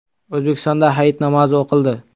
O‘zbekistonda hayit namozi o‘qildi.